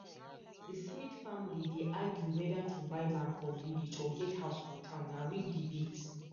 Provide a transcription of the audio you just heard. the smith family dey argue whether to buy land for village or get house for town na real debate